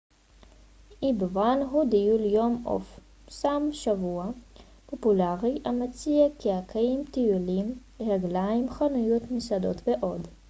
אי בוון הוא טיול יום או סוף שבוע פופולרי המציע קיאקים טיולים רגליים חנויות מסעדות ועוד